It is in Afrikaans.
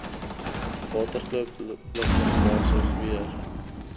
waterkloof lugmagbasis weer